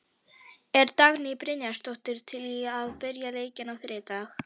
Er Dagný Brynjarsdóttir til í að byrja leikinn á þriðjudag?